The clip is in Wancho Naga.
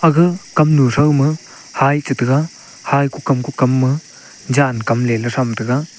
ga kamnu thow ma hei che tega hei kukam kukam ma jan kam le lah tham tega.